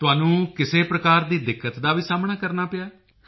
ਤੁਹਾਨੂੰ ਕਿਸੇ ਪ੍ਰਕਾਰ ਦੀ ਦਿੱਕਤ ਦਾ ਵੀ ਸਾਹਮਣਾ ਕਰਨਾ ਪਿਆ ਹੈ